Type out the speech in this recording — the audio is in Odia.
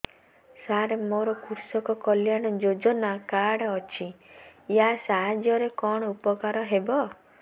ସାର ମୋର କୃଷକ କଲ୍ୟାଣ ଯୋଜନା କାର୍ଡ ଅଛି ୟା ସାହାଯ୍ୟ ରେ କଣ ଉପକାର ହେବ